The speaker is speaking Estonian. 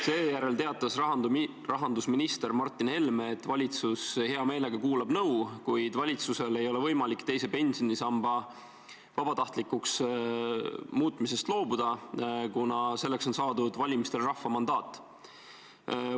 Seejärel teatas rahandusminister Martin Helme, et valitsus hea meelega kuulab nõu, kuid valitsusel ei ole võimalik teise pensionisamba vabatahtlikuks muutmisest loobuda, kuna selleks on saadud valimistel rahva mandaat.